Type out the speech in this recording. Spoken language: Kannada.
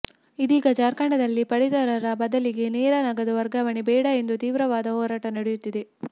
ಇದೀಗ ಜಾರ್ಖಂಡದಲ್ಲಿ ಪಡಿತರದ ಬದಲಿಗೆ ನೇರ ನಗದು ವರ್ಗಾವಣೆ ಬೇಡ ಎಂದು ತೀವ್ರವಾದ ಹೋರಾಟ ನಡೆಯುತ್ತಿದೆ